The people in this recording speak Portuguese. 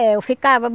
É, eu ficava.